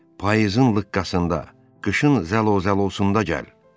Payızın lıqqasında, qışın zəlozəlosunda gəl.